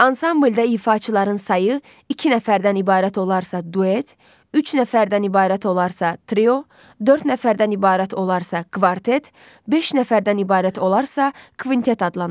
Ansamblda ifaçıların sayı iki nəfərdən ibarət olarsa duet, üç nəfərdən ibarət olarsa trio, dörd nəfərdən ibarət olarsa kvartet, beş nəfərdən ibarət olarsa kvintet adlanır.